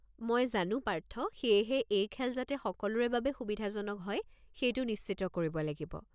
মই জানো পাৰ্থ, সেয়েহে এই খেল যাতে সকলোৰে বাবে সুবিধাজনক হয় সেইটো নিশ্চিত কৰিব লাগিব।